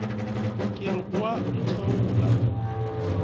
ke re o a ntheola